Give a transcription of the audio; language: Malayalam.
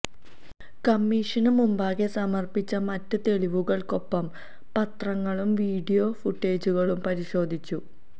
കമ്മീഷന് മുമ്പാകെ സമര്പ്പിച്ച മറ്റ് തെളിവുകള്ക്കൊപ്പം പത്രങ്ങളും വീഡിയോ ഫൂട്ടേജുകളും പരിശോധിച്ചു